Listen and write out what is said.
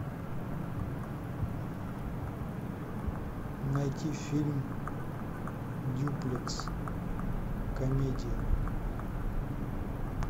найти фильм дюплекс комедия